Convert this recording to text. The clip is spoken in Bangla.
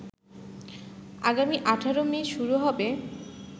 আগামী ১৮ মে শুরু হবে